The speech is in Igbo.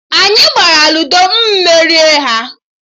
Anyị gbara Luudo, mụ merie ha